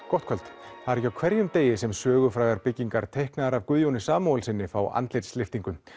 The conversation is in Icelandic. gott kvöld það er ekki á hverjum degi sem sögufrægar byggingar teiknaðar af Guðjóni Samúelssyni fái andlitslyftingu